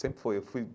Sempre fui eu fui.